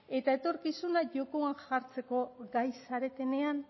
eta etorkizuna jokoan jartzeko gai zaretenean